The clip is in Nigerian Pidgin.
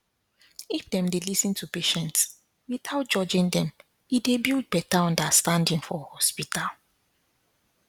if dem dey lis ten to patients without judging them e dey build better understanding for hospital